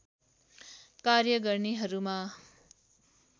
कार्य गर्नेहरूमा